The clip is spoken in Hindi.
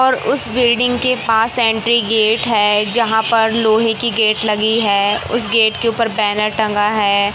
और उस बिल्डिंग के पास एंट्री गेट है जहां पर लोहे की गेट लगी है उसे गेट के ऊपर बैनर टंगा है।